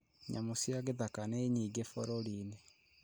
Nyamũ cia gĩthaka nĩ nyingĩ bũrũri-inĩ